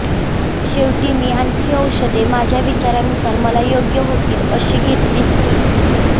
शेवटी मी आणखी औषधे माझ्या विचारानुसार मला योग्य होतील अशी घेतलीच की